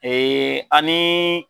ani